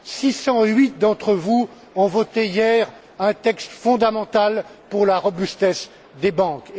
608 d'entre vous ont voté hier un texte fondamental pour la robustesse des banques.